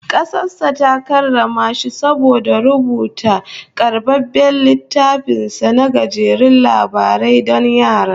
Kasar sa ta karrama shi saboda rubuta karbabben littafin sa na gajerun labarai don yara